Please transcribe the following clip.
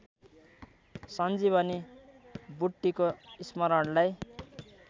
सञ्जीवनी बुट्टीको स्मरणलाई